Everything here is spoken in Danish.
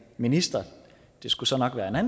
minister og det skulle så nok være